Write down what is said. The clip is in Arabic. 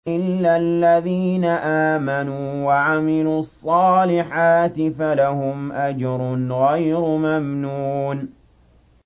إِلَّا الَّذِينَ آمَنُوا وَعَمِلُوا الصَّالِحَاتِ فَلَهُمْ أَجْرٌ غَيْرُ مَمْنُونٍ